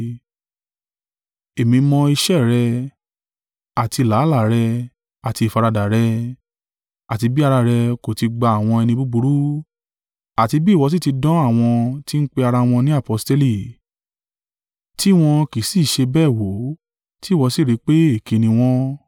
Èmi mọ iṣẹ́ rẹ, àti làálàá rẹ, àti ìfaradà rẹ, àti bí ara rẹ kò ti gba àwọn ẹni búburú, àti bí ìwọ sì ti dán àwọn tí ń pe ara wọn ní aposteli, tí wọ́n kì í sì í ṣe bẹ́ẹ̀ wo, tí ìwọ sì rí pé èké ni wọ́n,